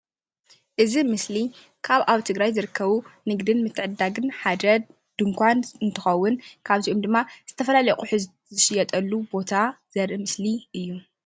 እዚ ምስሊ ካብ ኣብ ትግራይ ዝርከቡ ንግዲ ንምትዕድዳግ ሓደ ድንኳን እንትከውን ካብ እዚኦም ድማ ዝተፈላለዩ ኣቁሑት ዝሽየጠሉ ዘርኢ ምስሊ እዩ፡፡